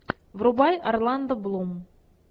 врубай орландо блум